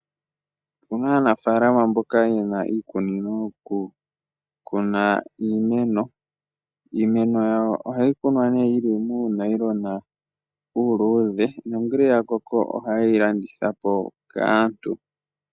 Opuna aanafaalama mboka yena iikunino yokukuna iimeno. Iimeno yawo ohayi Kuna yili muunayilona uuluudhe, nongele yakoko ohaye yi landitha po kaantu.